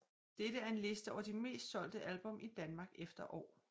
Dette er en liste over de mest solgte album i Danmark efter år